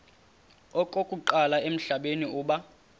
okokuqala emhlabeni uba